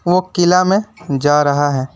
वो किला में जा रहा है।